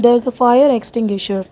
there is a fire extinguisher.